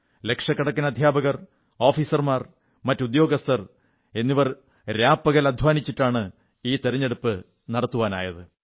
ലക്ഷക്കണക്കിന് അധ്യാപകർ ഓഫീസർമാർ മറ്റുദ്യോഗസ്ഥർ രാപകൽ അധ്വാനിച്ചിട്ടാണ് ഈ തിരഞ്ഞെടുപ്പു നടത്താനായത്